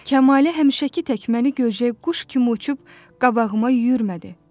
Kəmalə həmişəki tək məni görəcək quş kimi uçub qabağıma yürürmədi.